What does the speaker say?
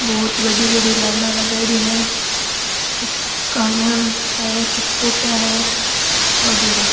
बहुत बड़ी बड़ी लाइना लगाएडि है कुछ कान्या में है कुछ कॉपिया है वगेरा।